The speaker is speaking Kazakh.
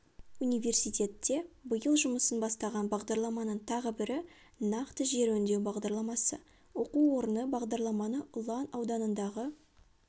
университетте биыл жұмысын бастаған бағдарламаның тағы бірі нақты жер өңдеу бағдарламасы оқу орны бағдарламаны ұлан ауданындағы